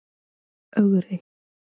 Ögri